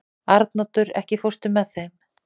Arnoddur, ekki fórstu með þeim?